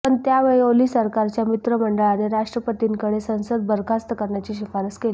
पण त्यावेळी ओली सरकारच्या मंत्रिमंडळाने राष्ट्रपतींकडे संसद बरखास्त करण्याची शिफारस केली